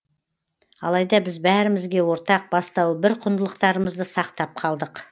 алайда біз бәрімізге ортақ бастауы бір құндылықтарымызды сақтап қалдық